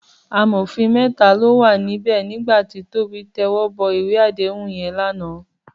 Àmófín mètá ló wá n bè nigbá ti Tobi tèwòbò iwé àdéhún yèn làná